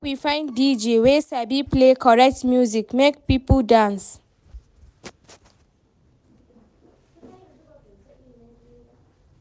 Make we find DJ wey sabi play correct music make pipo dance.